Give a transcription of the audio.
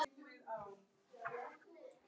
En hvað um það!